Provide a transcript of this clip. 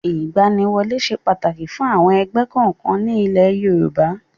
Ìgbaniwọlé ṣe pàtàkì fún àwọn ẹgbẹ́ kọ̀ọ̀kan ní ilé Yorùbá.